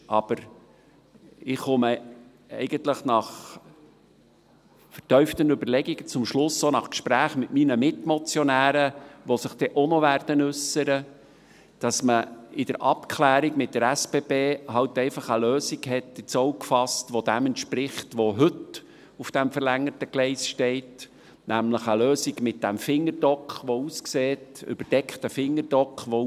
Aber ich komme nach vertieften Überlegungen und Gesprächen mit meinen Mitmotionären, die sich auch noch äussern werden, zum Schluss, dass man in der Abklärung mit der SBB eben einfach eine Lösung ins Auge gefasst hat, die dem entspricht, was heute auf diesem verlängerten Gleis steht, nämlich eine Lösung mit diesem überdeckten Fingerdock.